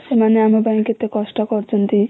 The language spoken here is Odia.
ସେମାନେ ଆମ ପାଇଁ କେତେ କଷ୍ଟ କରୁଛନ୍ତି